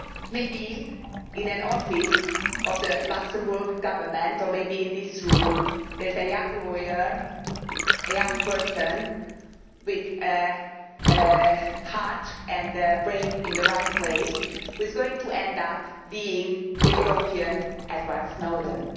Maybe in an office of the Luxembourg Government, or maybe in this room, there is a young lawyer a young person with heart and brain in the right place who is going to end up being the European Edward Snowden.